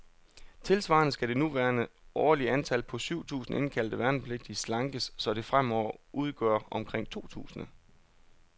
Tilsvarende skal det nuværende årlige antal, på syv tusinde indkaldte værnepligtige, slankes, så det fremover udgør omkring to tusinde.